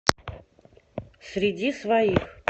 среди своих